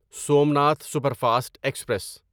Somnath superfast express